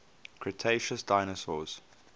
cretaceous dinosaurs